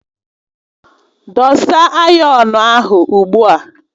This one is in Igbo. Dosa ayọnu ahụ ugbu a!